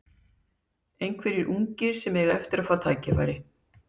Einhverjir ungir sem eiga eftir að fá tækifæri?